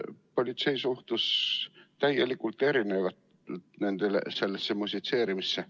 Politsei suhtus täiesti erinevalt sellesse musitseerimisse.